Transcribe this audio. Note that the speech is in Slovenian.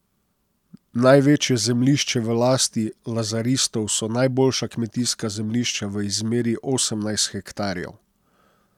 Največje zemljišče v lasti lazaristov so najboljša kmetijska zemljišča v izmeri osemnajst hektarjev.